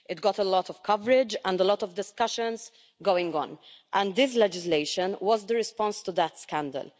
It got a lot of coverage and a lot of discussions going on, and this legislation was the response to that scandal.